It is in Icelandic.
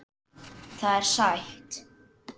Það er sætt.